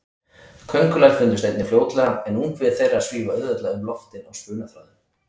Köngulær fundust einnig fljótlega, en ungviði þeirra svífa auðveldlega um loftin á spunaþráðum.